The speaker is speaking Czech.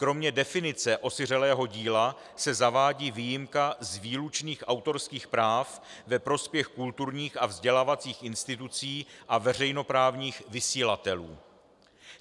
Kromě definice osiřelého díla se zavádí výjimka z výlučných autorských práv ve prospěch kulturních a vzdělávacích institucí a veřejnoprávních vysílatelů.